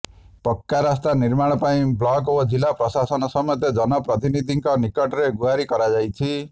ପକ୍କା ରାସ୍ତା ନିର୍ମାଣ ପାଇଁ ବ୍ଲକ ଓ ଜିଲ୍ଲା ପ୍ରଶାସନ ସମେତ ଜନ ପ୍ରତିନିଧିଙ୍କ ନିକଟରେ ଗୁହାରି କରାଯାଇଛି